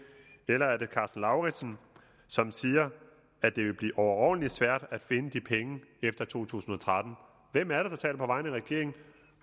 eller er det karsten lauritzen som siger at det vil blive overordentlig svært at finde de penge efter 2013 hvem er det der taler på vegne af regeringen